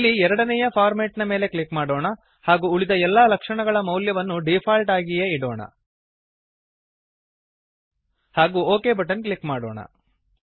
ಇಲ್ಲಿ ಎರಡನೇಯ ಫಾರ್ಮ್ಯಾಟ್ ನ ಮೇಲೆ ಕ್ಲಿಕ್ ಮಾಡೋಣ ಹಾಗೂ ಉಳಿದ ಎಲ್ಲಾ ಲಕ್ಷಣಗಳ ಮೌಲ್ಯವನ್ನು ಡೀಫಾಲ್ಟ್ ಆಗಿಯೇ ಇಡೋಣ ಹಾಗೂ ಒಕ್ ಬಟನ್ ಕ್ಲಿಕ್ ಮಾಡೊಣ